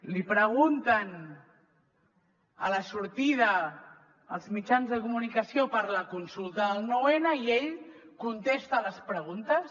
li pregunten a la sortida els mitjans de comunicació per la consulta del nou n i ell contesta les preguntes